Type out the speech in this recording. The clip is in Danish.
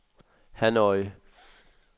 Hanoi